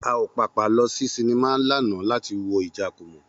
A ò pàpà lọ sí sinimá lánàá láti lọ wo Ìjàkùmọ̀